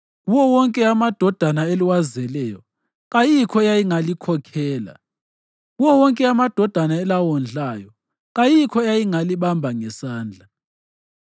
Kuwo wonke amadodana eliwazeleyo, kayikho eyayingalikhokhela; kuwo wonke amadodana elawondlayo, kayikho eyayingalibamba ngesandla.